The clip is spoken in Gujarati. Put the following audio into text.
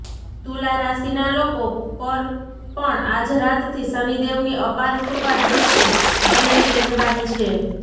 તુલા રાશિના લોકો પર પણ આજ રાતથી શનિદેવની અપાર કૃપા દૃષ્ટિ બનેલી રહેવાની છે